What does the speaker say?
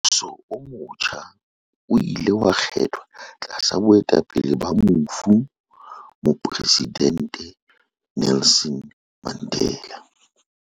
Mmuso o motjha o ile wa kgethwa tlasa boetapele ba mofu Mopresidente Nelson Mandela.